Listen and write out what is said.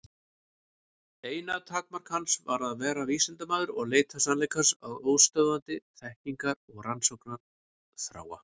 Eina takmark hans var að vera vísindamaður og leita sannleikans af óstöðvandi þekkingar- og rannsóknarþrá.